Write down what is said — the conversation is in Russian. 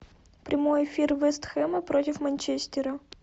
прямой эфир вест хэма против манчестера